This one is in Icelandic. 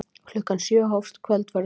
Klukkan sjö hófst kvöldverðurinn.